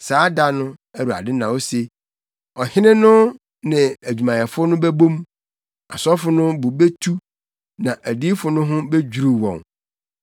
“Saa da no,” Awurade na ose, “ɔhene no ne adwumayɛfo no bɛbɔ hu, asɔfo no bo betu, na adiyifo no ho bedwiriw wɔn.”